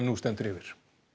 stendur yfir